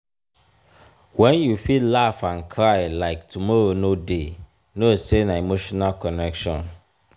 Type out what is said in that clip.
wen you fit laugh and cry like tomorrow no dey know sey na emotional connection.